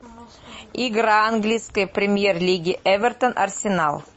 игра английской премьер лиги эвертон арсенал